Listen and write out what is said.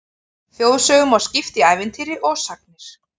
Þjóðsögum má skipta í ævintýri og sagnir.